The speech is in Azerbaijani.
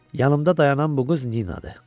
Yanımda dayanan bu qız Ninadır.